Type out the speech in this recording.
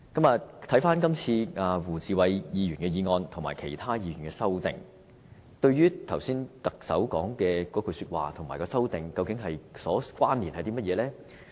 至於胡志偉議員提出的議案，以及其他議員提出的修正案，跟特首剛才的那番說話有甚麼關連呢？